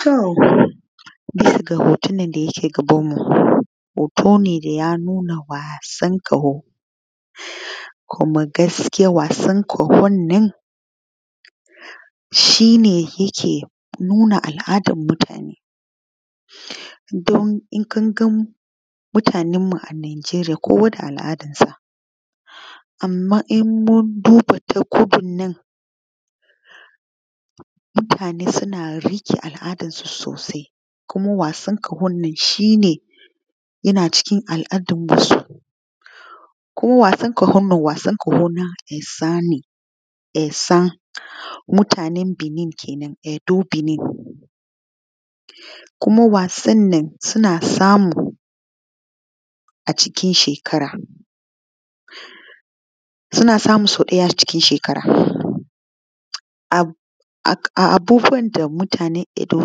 To bisa ga hoton nan da yake gabanmu. Hoto ne da ya nuna waasan ƙaho kuma gaskiya wasan ƙahon nan, shi ne yake nuna al’adan mutane, don in kun ga mutanenmu a Najeriya kowa da al’adansa, anma in mun duba ta ko in nna mutane suna riƙe al’adansu sosai kuma wasan ƙahon nan shi ne yana cikin al’adan wasu ko wasan ƙahon nan. Wasan ƙaho na esan ne esan mutanen Benin kenan Edo, Benin kenan kuma wasannan suna samu a cikin shekara, suna samu sau ɗaya a cikin shekara, a abubuwan da mutanen Edo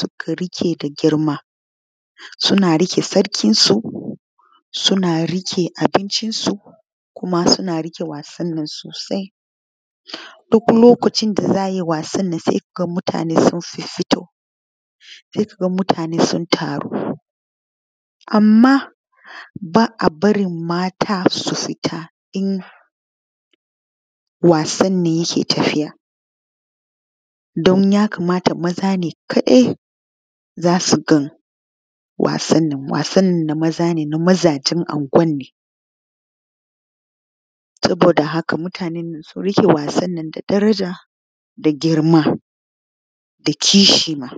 suka riƙe da girma suna riƙe sarkinsu, suna riƙe abincinsu kuma suna riƙe wasannan sosai. Duk lokacin da za ai wasannan sai ka ga mutane sun fiffito se kaga mutane sun taru anma baabarin mata su fita in wasannan ne yake tafiya, don ya kamata maza ne kaɗai za su gan wasannan wasan nan na mazaje nan anguwanne saboda haka mutanennan sun riƙe wassan nan da daraja da girma da kishi ma.